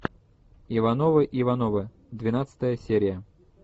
ивановы ивановы двенадцатая серия